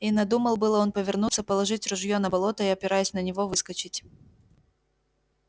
и надумал было он повернуться положить ружьё на болото и опираясь на него выскочить